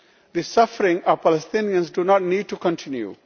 The suffering of Palestinians does not need to continue.